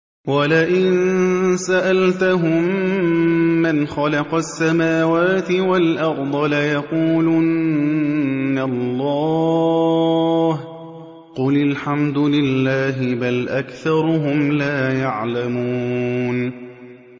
وَلَئِن سَأَلْتَهُم مَّنْ خَلَقَ السَّمَاوَاتِ وَالْأَرْضَ لَيَقُولُنَّ اللَّهُ ۚ قُلِ الْحَمْدُ لِلَّهِ ۚ بَلْ أَكْثَرُهُمْ لَا يَعْلَمُونَ